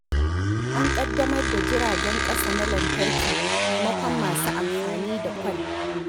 An ƙaddamar da jiragen ƙasa na lantarki maimakon masu amfani da kwal.